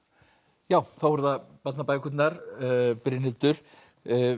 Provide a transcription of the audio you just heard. já þá eru það barnabækurnar Brynhildur